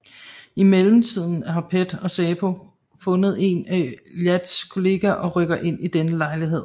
I mellemtiden har PET og SÄPO fundet en af Iyads kollegaer og rykker ind i denne lejlighed